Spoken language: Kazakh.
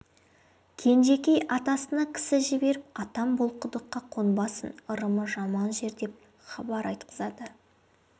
кенжекей атасына кісі жіберіп атам бұл құдыққа қонбасын ырымы жаман жер деп хабар айтқызады